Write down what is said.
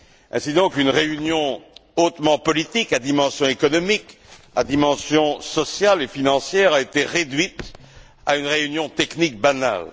Ainsi donc, une réunion hautement politique à dimension économique, à dimension sociale et financière a été réduite à une réunion technique banale.